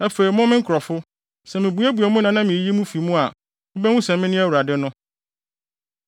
Afei mo, me nkurɔfo, sɛ mibuebue mo nna na miyiyi mo fi mu a, mubehu sɛ mene Awurade no.